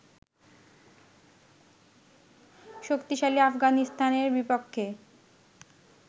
শক্তিশালী আফগানিস্তানের বিপক্ষে